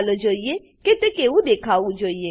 ચાલો જોઈએ કે તે કેવું દેખાવું જોઈએ